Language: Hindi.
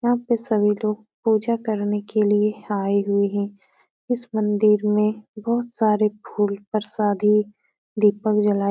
यहाँ पे सभी लोग पूजा करने के लिये आये हुए हैं। इस मंदिर में बोहोत सारे फूल परसादी दीपक जलाए --